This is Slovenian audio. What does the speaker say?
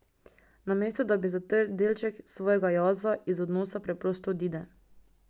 Namesto da bi zatrl delček svojega jaza, iz odnosa preprosto odide.